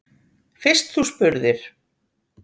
Fyrst þú spurðir.